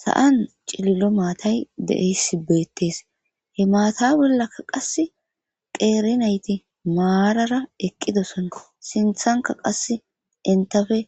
sa7an cilillo maatay deeysi beettes he maata bollaka qasse qeerinayti maarara eqqidosona sinthanka qass intafe